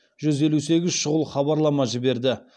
жүз елу сегіз шұғыл хабарлама жіберді